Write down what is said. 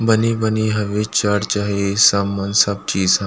बनी-बनी हवे चर्च हे सब मन सब की चीज ह --